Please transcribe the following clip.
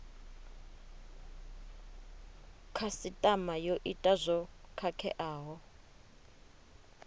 khasitama yo ita zwo khakheaho